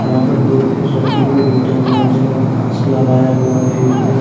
यहाँ पर दो तीन शोपकीपर बैठे हुए हैं जिन्होंने मास्क लगाया हुआ है। एक ने --